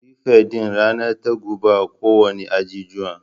Firifet din ranar ta guba kowanne ajijuwa